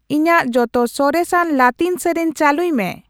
ᱤᱧᱟᱜ ᱡᱚᱛᱚ ᱥᱚᱨᱮᱥ ᱟᱱ ᱞᱟᱛᱤᱱ ᱥᱮᱹᱨᱮᱹᱧ ᱪᱟᱹᱞᱩᱭ ᱢᱮ